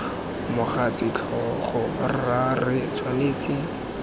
mogatse tlhogo rra re tshwanetse